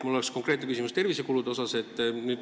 Mul on konkreetne küsimus tervisekulutuste kohta.